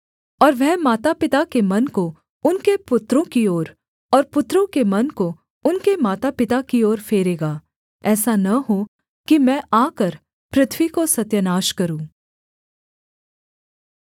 और वह माता पिता के मन को उनके पुत्रों की ओर और पुत्रों के मन को उनके मातापिता की ओर फेरेगा ऐसा न हो कि मैं आकर पृथ्वी को सत्यानाश करूँ